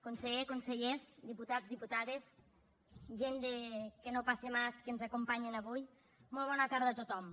conseller consellers diputats diputades gent de que no pase más que ens acompanyen avui molt bona tarda a tothom